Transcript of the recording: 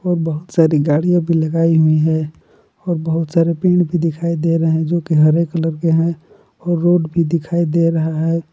बहोत साड़ी गाड़ियों भी लगाई हुई है और बहुत सारे पेड़ की दिखाई दे रहे हैं जो की हरे कलर के हैं और रोड भी दिखाई दे रहा है।